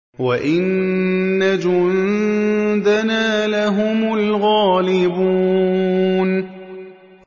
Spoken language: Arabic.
وَإِنَّ جُندَنَا لَهُمُ الْغَالِبُونَ